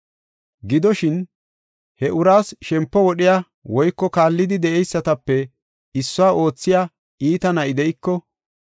Gidoshin, he uraas shempo wodhiya woyko kallidi de7eysatape issuwa oothiya iita na7i de7iko,